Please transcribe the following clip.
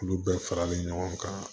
Olu bɛɛ faralen ɲɔgɔn kan